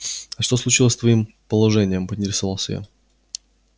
а что случилось с твоим положением поинтересовался я